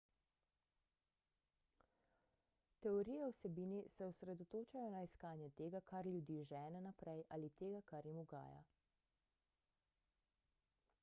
teorije o vsebini se osredotočajo na iskanje tega kar ljudi žene naprej ali tega kar jim ugaja